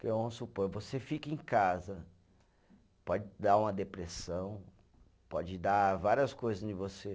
Porque, vamos supor, você fica em casa, pode dar uma depressão, pode dar várias coisas em você.